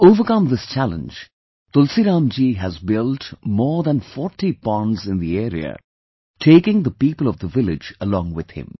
To overcome this challenge, Tulsiram ji has built more than 40 ponds in the area, taking the people of the village along with him